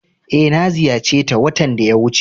Eh, na ziyace ta watan da ya wuce.